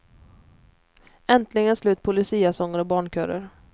Äntligen slut på luciasånger och barnkörer.